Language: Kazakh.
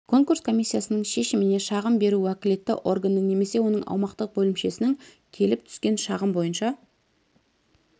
конкурс комиссиясының шешіміне шағым беру уәкілетті органның немесе оның аумақтық бөлімшесінің келіп түскен шағым бойынша